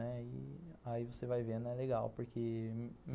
Aí você vai vendo, é legal, porque